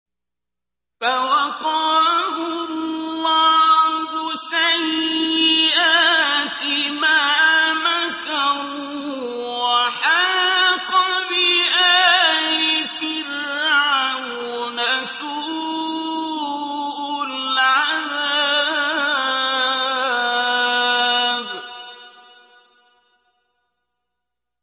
فَوَقَاهُ اللَّهُ سَيِّئَاتِ مَا مَكَرُوا ۖ وَحَاقَ بِآلِ فِرْعَوْنَ سُوءُ الْعَذَابِ